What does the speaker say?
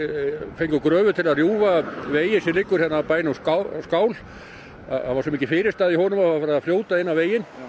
fengum gröfu til að rjúfa veginn sem liggur hérna að skál það var svo mikil fyrirstaða í honum að vatnið var farið að fljóta inn á veginn